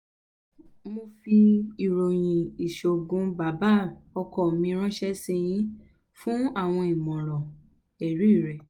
mo n fi iroyin iṣoogun baba ọkọ mi ranṣẹ si yin fun awọn imọran ẹri rẹ